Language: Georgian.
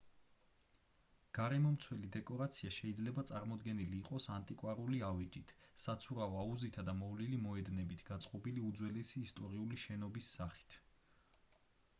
გარემომცველი დეკორაცია შეიძლება წარმოდგენილი იყოს ანტიკვარული ავეჯით საცურაო აუზითა და მოვლილი მოედნებით გაწყობილი უძველესი ისტორიული შენობის სახით